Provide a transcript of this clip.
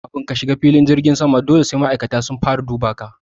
Kamin ka shiga filin jirgin sama dole sai ma'aikatan tsaro sun duba ka